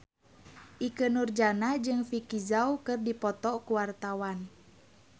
Ikke Nurjanah jeung Vicki Zao keur dipoto ku wartawan